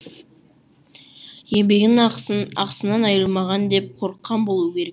еңбегінің ақысын ақысынан айырылмаған деп қорыққан болу керек